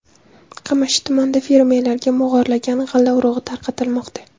Qamashi tumanida fermerlarga mog‘orlagan g‘alla urug‘i tarqatilmoqda.